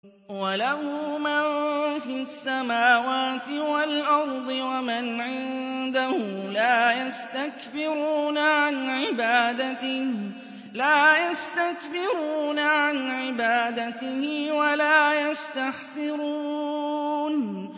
وَلَهُ مَن فِي السَّمَاوَاتِ وَالْأَرْضِ ۚ وَمَنْ عِندَهُ لَا يَسْتَكْبِرُونَ عَنْ عِبَادَتِهِ وَلَا يَسْتَحْسِرُونَ